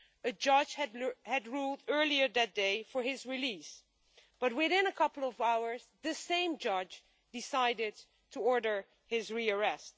A judge had ruled earlier that day that he should be released, but within a couple of hours the same judge decided to order his rearrest.